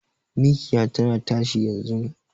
Mikiya tana tashi yanzun